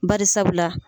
Bari sabula